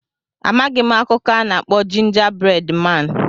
Amaghị m akụkọ a na-akpọ Jinja bred maan.